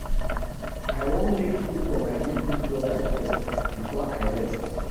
I wan make food for my little broda first before I rest